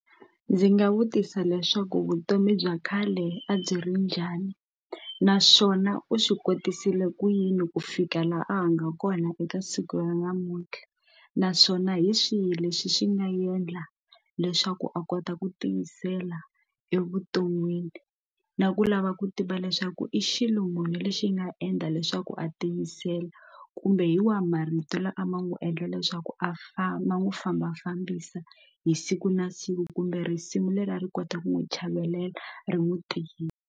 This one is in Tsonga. Ndzi nga vutisa leswaku vutomi bya khale a byi ri njhani naswona u swi kotisile ku yini ku fika laha a nga kona eka siku ra namuntlha naswona hi swihi lexi xi nga endla leswaku a kota ku tiyisela evuton'wini na ku lava ku tiva leswaku i xilungwini lexi nga endla leswaku a tiyisela kumbe hi wahi marito lama a ma n'wi endla leswaku a famba n'wi fambafambisa hi siku na siku kumbe risimu leri a ri kota ku n'wi chavelela ri n'wi tivi.